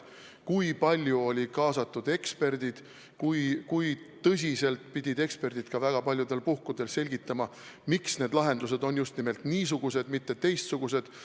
Väga palju oli kaasatud eksperte, kes pidid väga paljudel puhkudel selgitama, miks lahendused on just nimelt niisugused, mitte teistsugused.